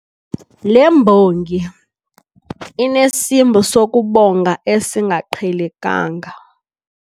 Le mbongi inesimbo sokubonga esingaqhelekanga.